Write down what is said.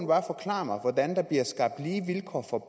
bare forklare mig hvordan der bliver skabt lige vilkår for